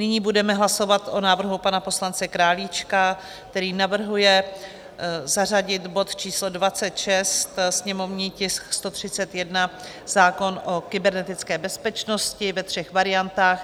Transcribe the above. Nyní budeme hlasovat o návrhu pana poslance Králíčka, který navrhuje zařadit bod číslo 26, sněmovní tisk 131, zákon o kybernetické bezpečnosti, ve třech variantách.